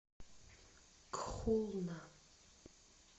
кхулна